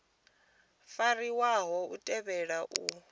fariwaho u tea u fariwa